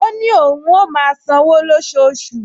Ó ní òun á máa san-án lóṣooṣù